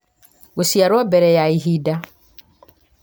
gũciarwo mbere ya ihinda